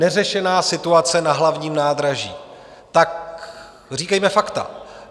Neřešená situace na Hlavním nádraží - říkejme fakta.